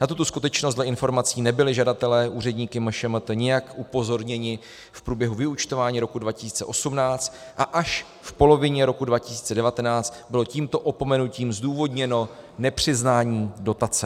Na tuto skutečnost dle informací nebyli žadatelé úředníky MŠMT nijak upozorněni v průběhu vyúčtování roku 2018 a až v polovině roku 2019 bylo tímto opomenutím zdůvodněno nepřiznání dotace.